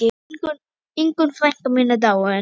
Ingunn frænka mín er dáin.